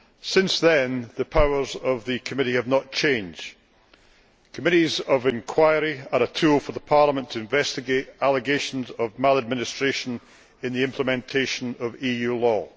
Since then, the powers of the committee have not changed. Committees of inquiry are a tool for Parliament to investigate allegations of maladministration in the implementation of EU law.